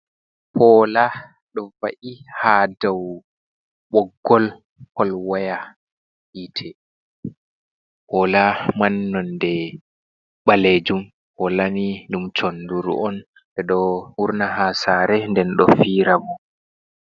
Poola ɗo wa’i haa dow ɓoggol polwaya hiite. Poola man nonde ɓalejum. Poola ni ɗum sonduru on, ɓe ɗo wurna haa saare, nden ɗo fiira.